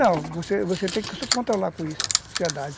Não, você você tem que se controlar com isso, ansiedade.